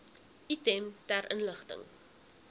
item ter inligting